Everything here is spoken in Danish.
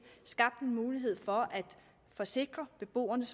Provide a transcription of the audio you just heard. skabt en mulighed for at forsikre beboerne